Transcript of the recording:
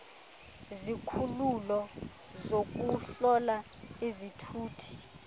izikhululo zokuhlola izithuthi